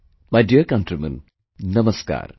My dear countrymen, Namaskar